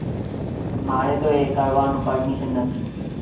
મારે તો એ કરવાનું permission નથી